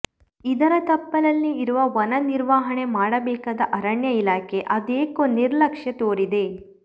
ಇದರ ತಪ್ಪಲಲ್ಲಿ ಇರುವ ವನ ನಿರ್ವಹಣೆ ಮಾಡಬೇಕಾದ ಅರಣ್ಯ ಇಲಾಖೆ ಅದೇಕೋ ನಿರ್ಲಕ್ಷ್ಯ ತೋರಿದೆ